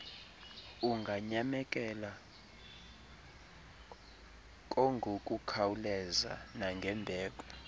unganyamekela kngokukhawuleza nangembeko